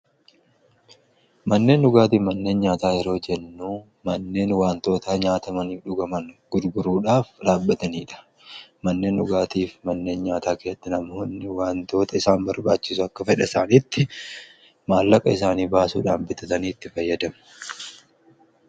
Manneen dhugaatiif manneen nyaataa yeroo jennuu manneen wantoota nyaatamanii dhugaman gurguruudhaaf dhaabbataniidha manneen dhugaatiif manneen nyaataa keessatti namoonni wantoota isaan barbaachisu akka fedha isaaniitti maallaqa isaanii baasuudhaan bitatanii itti fayyadamu.